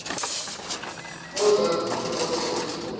ozaziyo oke uzibone